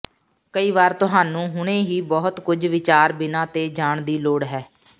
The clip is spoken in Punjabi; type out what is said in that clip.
ਕਈ ਵਾਰ ਤੁਹਾਨੂੰ ਹੁਣੇ ਹੀ ਬਹੁਤ ਕੁਝ ਵਿਚਾਰ ਬਿਨਾ ਤੇ ਜਾਣ ਦੀ ਲੋੜ ਹੈ